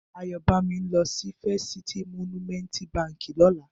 Ayobami n lò si Fèst Citi Mònúmèntí bànkí lòlá